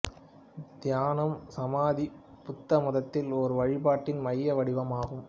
தியானம் சமாதி புத்தமதத்தில் ஒரு வழிபாட்டின் மைய வடிவம் ஆகும்